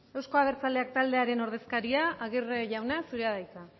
euzko abertzaleak taldearen ordezkaria aguirre jauna zurea da hitza